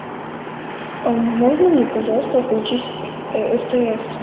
можно мне пожалуйста включить стс